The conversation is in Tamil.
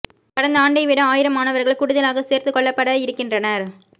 கடந்த ஆண்டை விட ஆயிரம் மாணவர்கள் கூடுதலாகச் சேர்த்துக் கொள்ளப்பட இருக்கிறனர்